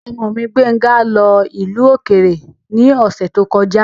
Ọmọ mi, Gbéńga lọ ìlú òkèrè ní ọ̀sẹ̀ tó kọjá.